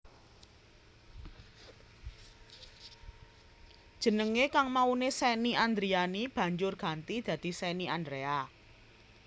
Jenengé kang mauné Shenny Andriani banjur ganti dadi Shenny Andrea